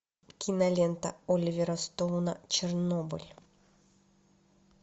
кинолента оливера стоуна чернобыль